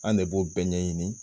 An de b'o bɛɛ ɲɛ ɲini